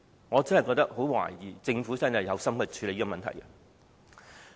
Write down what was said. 我真的很懷疑政府是否有心處理問題。